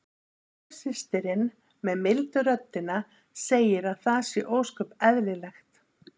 Önnur systirin með mildu röddina segir að það sé ósköp eðlilegt.